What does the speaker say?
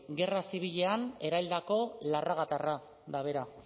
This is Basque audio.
gerra zibilean eraildako larragatarra da bera